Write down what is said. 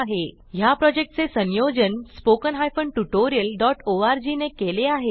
ह्या प्रॉजेक्टचे संयोजन httpspoken tutorialorg ने केले आहे